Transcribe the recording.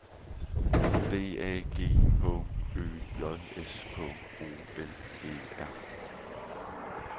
D A G H Ø J S K O L E R